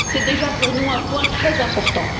C'est déjà pour nous un point très important.